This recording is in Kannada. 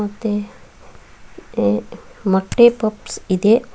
ಮತ್ತೆ ಈ ಮೊಟ್ಟೆ ಪಪ್ಸ್ ಇದೆ.